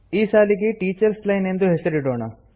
ಈ ಸಾಲಿಗೆ teachers line ಎಂದು ಹೆಸರಿಡೋಣ